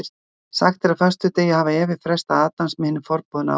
sagt er að á föstudegi hafi eva freistað adams með hinum forboðna ávexti